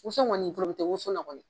Woso kɔni tɛ woso la kɔni